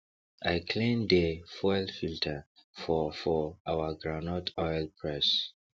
i clean dey fuel filter for for our groundnut oil press